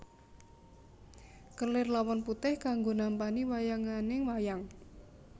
Kelir lawon putih kanggo nampani wayanganing wayang